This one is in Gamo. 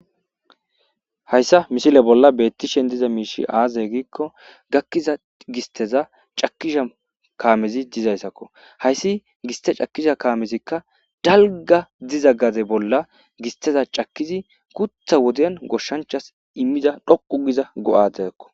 Hayssa mishile bolla beettishen diza miishi aazay giikko gakkiza gisteza cakisha kaamezi dizayssakko hayssi giste cakkisha kaamezikka dalga diza gaze bolla gisteza cakkizi kutha woden goshshanchas immida dhoqu giza go'adeakko